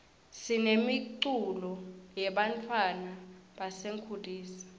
sinemiculo yebantfwana basetinkulisa